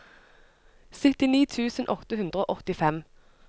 syttini tusen åtte hundre og åttifem